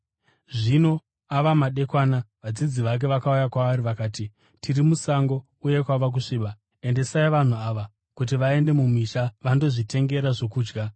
Zvino ava madekwana, vadzidzi vake vakauya kwaari vakati, “Tiri musango, uye kwava kusviba. Endesai vanhu ava, kuti vaende mumisha vandozvitengera zvokudya.”